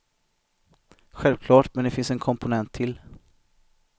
Självklart, men det finns en komponent till.